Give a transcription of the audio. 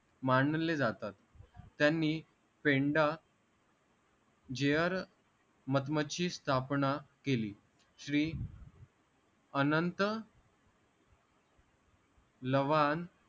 मांडले जातात त्यांनी पेंडा जेअर मदमची स्थापना केली श्री अनंत लवान